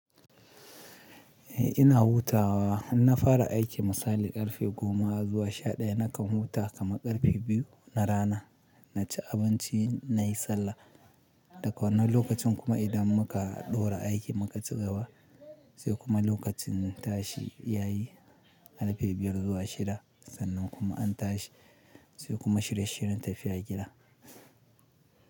Eh ina hutawa, in na fara aiki misali karfe goma zuwa sha ɗaya nakan huta kama karfe biyu na rana, naci abinci nayi sallah. Daga wannan lokacin kuma idan muka ɗora aiki muka ci gaba sai kuma lokacin tashi ya yi karfe biyar zuwa shida. Sannan kuma an tashi sai kuma shirye shiryen tafiya gida.